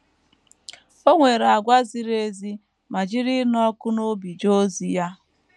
O nwere àgwà ziri ezi ma jiri ịnụ ọkụ n’obi jee ozi ya.